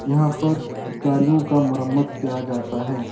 यहाँ पर गाड़ियों का मरम्मत किया जाता है।